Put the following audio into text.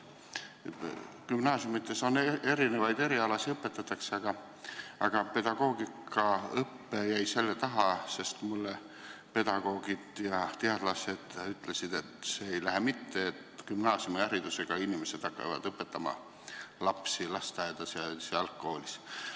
Gümnaasiumides on erinevaid erialasid ja pedagoogikaõpe jäi selle taha, et pedagoogid ja teadlased ütlesid mulle, et see ei lähe mitte, et gümnaasiumiharidusega inimesed hakkavad õpetama lapsi lasteaedades ja algkoolis.